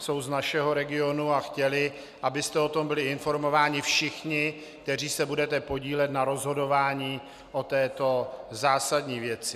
Jsou z našeho regionu a chtěli, abyste o tom byli informováni všichni, kteří se budete podílet na rozhodování o této zásadní věci.